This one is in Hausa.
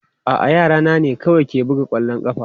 A'a, yara na ne kawai ke buga kwallon ƙafa.